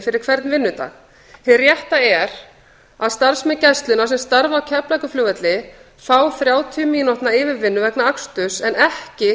fyrir hvern vinnudag hið rétta er að starfsmenn gæslunnar sem starfa á keflavíkurflugvelli fá þrjátíu mínútna yfirvinnu vegna aksturs en ekki